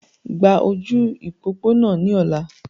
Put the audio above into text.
Gba ojú ìpópónà ní ọla!